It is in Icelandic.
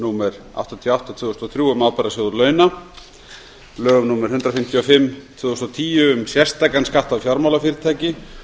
númer áttatíu og átta tvö þúsund og þrjú um ábyrgðasjóð launa lögum númer eitt hundrað fimmtíu og fimm tvö þúsund og tíu um sérstakan skatt á fjármálafyrirtæki